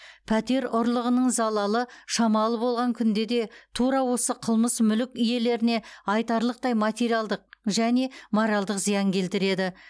пәтер ұрлығының залалы шамалы болған күнде де тура осы қылмыс мүлік иелеріне айтарлықтай материалдық және моральдық зиян келтіреді